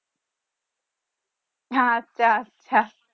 হ্যা আচ্ছা আচ্ছা